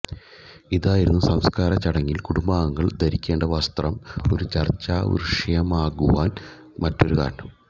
ഇതായിരുന്നു സംസ്കാര ചടങ്ങിൽ കുടുംബാംഗങ്ങൾ ധരിക്കേണ്ട വസ്ത്രം ഒരു ചർച്ചാവിഷയമാകുവാൻ മറ്റൊരു കാരണം